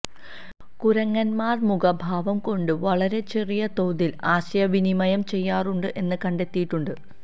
കുരങ്ങന്മാര് മുഖഭാവം കൊണ്ട് വളരെ ചെറിയ തോതില് ആശയ വിനിമയം ചെയ്യാറുണ്ട് എന്ന് കണ്ടെത്തിയിട്ടുണ്ട്